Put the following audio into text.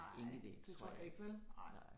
Ingen idé. Det tror jeg ikke, nej